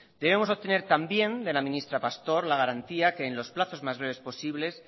debemos obtener también de la ministra pastor la garantía que en los plazos más breves posibles